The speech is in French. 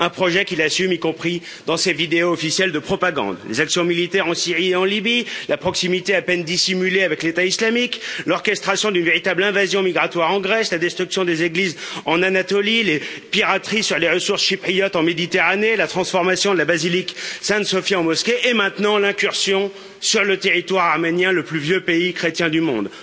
Un projet qu'il assume, y compris dans ses vidéos officielles de propagande des actions militaires en Syrie et en Libye, la proximité, à peine dissimulée, avec l'État islamique, l'orchestration d'une véritable invasion migratoire en Grèce, la destruction des églises en Anatolie, les pirateries sur les ressources chypriotes en Méditerranée, la transformation de la basilique Sainte Sophie en mosquée et maintenant l'incursion sur le territoire arménien, le plus vieux pays chrétien du monde.